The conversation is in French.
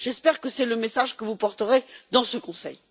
J'espère que c'est le message que vous porterez dans ce Conseil.